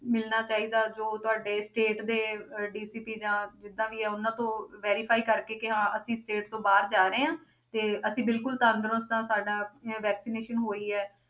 ਮਿਲਣਾ ਚਾਹੀਦਾ ਜੋ ਤੁਹਾਡੇ state ਦੇ ਅਹ DCP ਜਾਂ ਜਿੱਦਾਂ ਵੀ ਉਹਨਾਂ ਤੋਂ verify ਕਰਕੇ ਕਿ ਹਾਂ ਅਸੀਂ state ਤੋਂ ਬਾਹਰ ਜਾ ਰਹੇ ਹਾਂ ਤੇ ਅਸੀਂ ਬਿਲਕੁਲ ਤੰਦਰੁਸਤ ਹਾਂ, ਸਾਡਾ ਇਹ vaccinaton ਹੋਈ ਹੈ